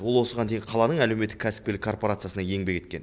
ол осыған дейін қаланың әлеуметтік кәсіпкерлік корпорациясында еңбек еткен